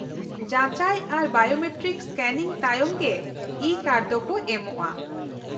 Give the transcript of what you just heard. -ᱡᱟᱪᱟᱭ ᱟᱨ biometric scanning ᱛᱟᱭᱚᱢ ᱜᱮ ᱤᱼᱠᱟᱨᱰ ᱫᱚᱠᱚ ᱮᱢᱚᱜᱼᱟ ᱾